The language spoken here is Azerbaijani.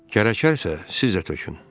Gərəkərsə, siz də tökün!